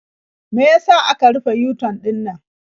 Me ya sa aka rufe yu-tan ɗinannan?